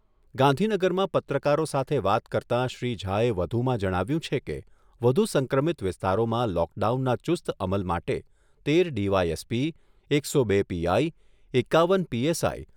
ગાંધીનગરમાં પત્રકારો સાથે વાત કરતાં શ્રી ઝાએ વધુમાં જણાવ્યુંં છે કે, વધુ સંક્રમિત વિસ્તારોમાં લોકડાઉનના ચુસ્ત અમલ માટે તેર ડીવાયએસપી, એકસો બે પીઆઈ, એકાવન પીએસઆઈ